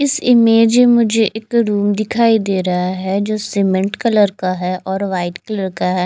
इस इमेज में मुझे एक रूम दिखाई दे रहा है सीमेंट कलर का है और वाईट कलर का है।